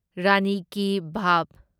ꯔꯥꯅꯤ ki ꯚꯥꯚ